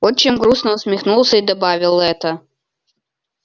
отчим грустно усмехнулся и добавил это